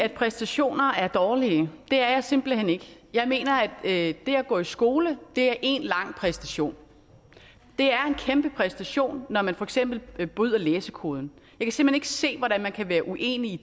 at præstationer er dårlige det er jeg simpelt hen ikke jeg mener at det at gå i skole er én lang præstation det er en kæmpe præstation når man for eksempel bryder læsekoden og ikke se hvordan man kan være uenig i